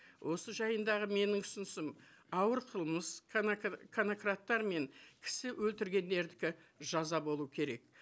осы жайындағы менің ұсынысым ауыр қылмыс конокрадтар мен кісі өлтіргендердікі жаза болу керек